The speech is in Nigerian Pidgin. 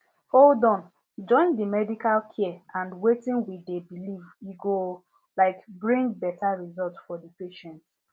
hold on join di medical care and wetin we dey believe e go um bring beta result for di patients